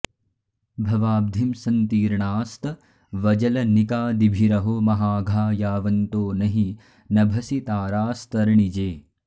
भवाब्धिं सन्तीर्णास्तवजलनिकादिभिरहो महाघा यावन्तो न हि नभसि तारास्तरणिजे